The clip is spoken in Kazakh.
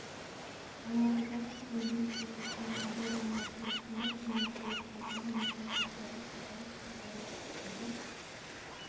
алматыда тілендиев көшесі мен абай даңғылы қиылысында жеңіл көлік жолдағы металл қоршауға соғылып аударылып түсті деп